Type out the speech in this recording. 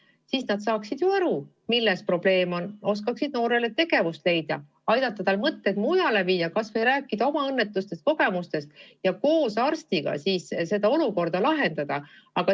Siis nad oleksid ju aru saanud, milles probleem on, oleksid osanud noorele tegevust leida, aidata tal mõtted mujale viia, kas või rääkida oma õnnetutest kogemustest ja koos arstiga seda olukorda lahendada.